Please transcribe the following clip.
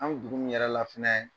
An b dugu min yɛrɛ la fɛnɛɛ